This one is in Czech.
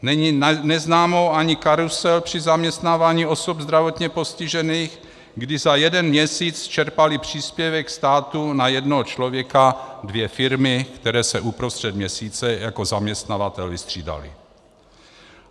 Není neznámou ani karusel při zaměstnávání osob zdravotně postižených, kdy za jeden měsíc čerpaly příspěvek státu na jednoho člověka dvě firmy, které se uprostřed měsíce jako zaměstnavatel vystřídaly.